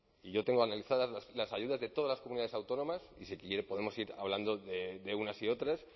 y yo tengo analizadas las ayudas de todas las comunidades autónomas y si quiere podemos ir hablando de unas y otras